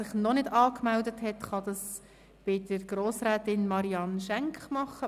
Wer sich noch nicht angemeldet hat, kann dies bei Grossrätin Marianne Schenk tun.